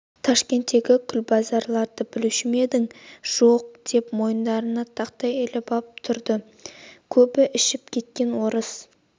ташкенттегі құлбазарды білуші ме едің жоқ деп мойындарына тақтай іліп ап тұрады көбі ішіп кеткен орыс